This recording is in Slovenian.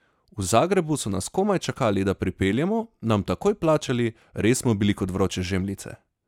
V Zagrebu so nas komaj čakali, da pripeljemo, nam takoj plačali, res smo bili kot vroče žemljice!